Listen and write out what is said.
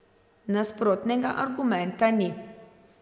Nasprotnega argumenta ni.